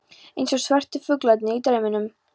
Eins og svörtu fuglarnir í drauminum.